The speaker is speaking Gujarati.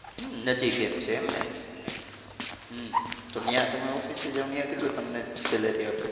તો ત્યાં તમે ઓફિસે જાવ ત્યાં તમને કેટલુ salary આપે છે.